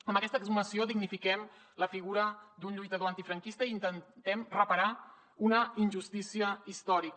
amb aquesta exhumació dignifiquem la figura d’un lluitador antifranquista i intentem reparar una injustícia històrica